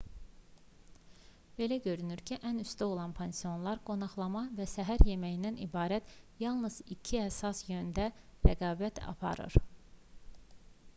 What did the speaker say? belə görünür ki ən üstdə olan pansionlar qonaqlama və səhər yeməyindən ibarət yalnız iki əsas yöndə rəqabət aparır